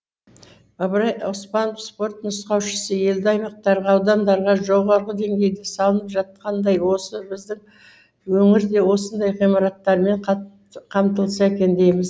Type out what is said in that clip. ыбырай оспанов спорт нұсқаушысы елді аймақтарға аудандарға жоғары деңгейде салынып жатқандай осы біздің өңір де осындай ғимараттармен қамтылса екен дейміз